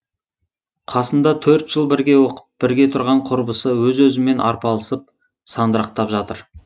қасында төрт жыл бірге оқып бірге тұрған құрбысы өзі өзімен арпалысып сандырақтап жатыр